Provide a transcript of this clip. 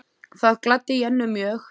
Það gladdi Jennu mjög.